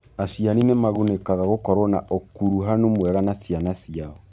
Aciari nĩ magunĩkaga nĩ gũkorũo na ũkuruhanu mwega na ciana ciao.